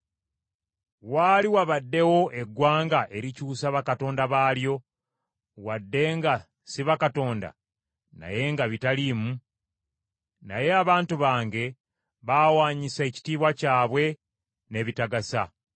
Waali wabaddewo eggwanga erikyusa bakatonda baalyo, wadde nga si bakatonda, naye nga bitaliimu? Naye abantu bange baawaanyisa ekitiibwa kyabwe n’ebitagasa.